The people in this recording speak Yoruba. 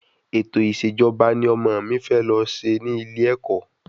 Ẹ̀tọ̀ ìṣèjọba ni ọmọ mi fẹ lọ ṣe ní ilé ẹ̀kọ́